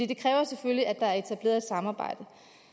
det kræver selvfølgelig at der er etableret et samarbejde